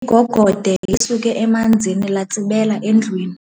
Igogode lisuke emanzini latsibela endlwini.